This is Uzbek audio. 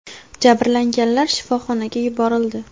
Jabrlanganlar shifoxonaga yuborildi.